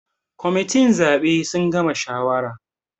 Members of the electoral committee have finished deciding